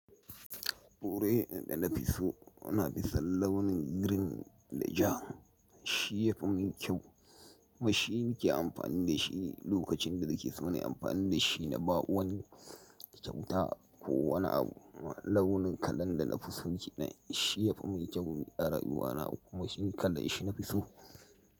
Kore ne da na fi so, ana fi son launin green da ja. Shi ya fi mun kyau. Kumashi nike amfani da shi lokacin da nake so na yi amfani da shi na ba wani kyauta ko wani abu. Launin kalan da na fi so kenan, shi ya fi mun kyau a rayuwana, kuma shi kalan shi na fi so.